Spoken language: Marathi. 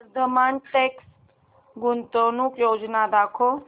वर्धमान टेक्स्ट गुंतवणूक योजना दाखव